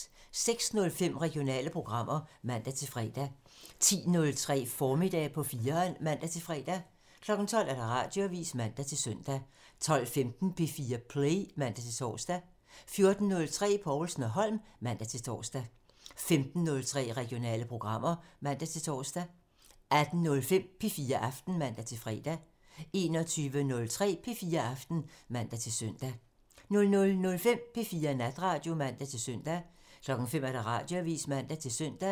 06:05: Regionale programmer (man-fre) 10:03: Formiddag på 4'eren (man-fre) 12:00: Radioavisen (man-søn) 12:15: P4 Play (man-tor) 14:03: Povlsen & Holm (man-tor) 15:03: Regionale programmer (man-tor) 18:05: P4 Aften (man-fre) 21:03: P4 Aften (man-søn) 00:05: P4 Natradio (man-søn) 05:00: Radioavisen (man-søn)